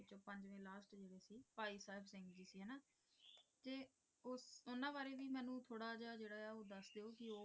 ਭਾਈ ਸਾਹਿਬ ਸਿੰਘ ਜੀ ਸੀ ਹਨਾਂ ਤੇ ਉਹਨਾਂ ਬਾਰੇ ਵੀ ਮੈਨੂੰ ਥੋੜਾ ਜਿਹਾ ਜਿਹੜਾ ਆ ਉਹ ਦੱਸ ਦਿਓ।